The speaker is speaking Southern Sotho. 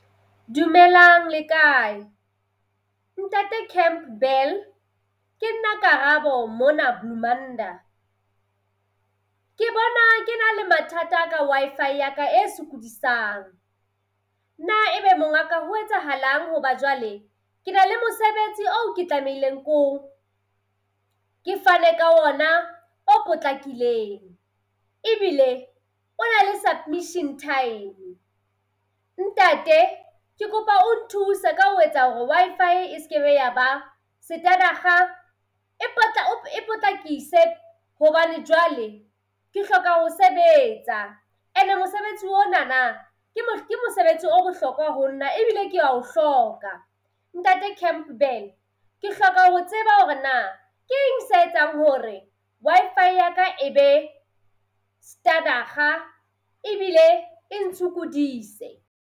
Dumelang, le kae? Ntate Campbell, ke nna Karabo mona Bloemanda. Ke bona ke na le mathata ka Wi-Fi ya ka e sokodisang. Na ebe mongaka ho etsahalang hoba jwale ke na le mosebetsi oo ke tlamehileng ke fane ka ona o potlakileng. Ebile o na le submission time. Ntate, ke kopa o nthuse ka ho etsa hore Wi-Fi e se ke be ya ba e e potlakise hobane jwale ke hloka ho sebetsa. Ene mosebetsi onana ke ke mosebetsi o bohlokwa ho nna ebile kea o hloka. Ntate Campbell ke hloka ho tseba hore na ke eng se etsang hore Wi-Fi ya ka e be . Ebile e ntshukudise.